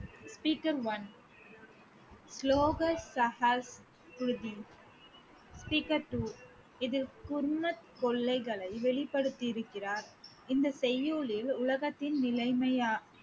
speaker one speaker two இது குர்னத் கொள்ளைகளை வெளிப்படுத்திருக்கிறார் இந்த செய்யுளில் உலகத்தின் நிலைமையா~